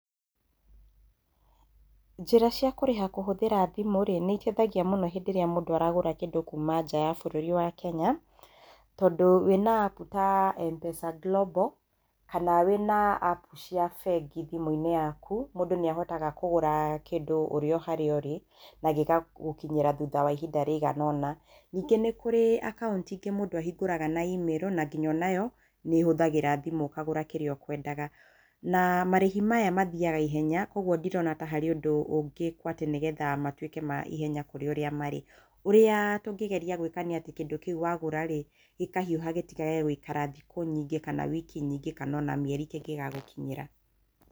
Njĩra cia kũriha kũhũthira thimũ rĩ nĩiteithagia mũno hĩndĩ ĩrĩa mũndũ aragũra kĩndũ kuma nja ya bũrũri wa Kenya, tondũ wĩna appu ta Mpesa Global, kana wĩna appu cia bengi thimũ-inĩ yaku, mũndũ nĩahotaga kũgũra kĩndũ ũrĩ oharia ũri na gĩgagũkinyĩra thutha wa ihinda rĩigana ũna. Ningĩ nĩ kũrĩ acaũnti ingĩ mũndũ ahingũraga na imĩrũ, na ngina onayo nĩĩhũthagĩra thimũ ũkagũra kĩrĩa ũkwendaga, na marĩhi maya mathiaga ihenya koguo ndirona ta harĩ ũndũ ũngĩkwo nĩgetha matuĩke ma naihenya gũkĩra ũrĩa marĩ. Ũrĩa tũngĩgeria gwĩka nĩ atĩ kĩndũ kĩu wagura-rĩ, gĩkahiũha gĩtigage gũikara thikũ nyingĩ kana wiki nyingĩ kana ona mĩeri kĩngĩgagũkinyĩra.